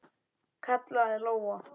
kallaði Lóa.